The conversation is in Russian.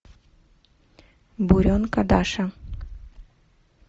буренка даша